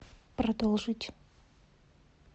продолжить